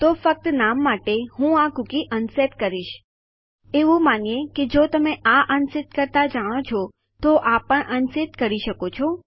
તો ફક્ત નામ માટે હું આ કૂકી અનસેટ કરીશ એવું માનીએ કે જો તમે આ અનસેટ કરતા જાણો છો તો આ પણ અનસેટ કરી શકો છો